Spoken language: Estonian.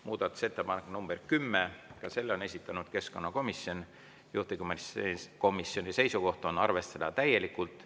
Muudatusettepanek nr 10, ka selle on esitanud keskkonnakomisjon, juhtivkomisjoni seisukoht on arvestada täielikult.